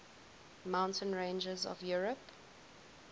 mountain ranges of europe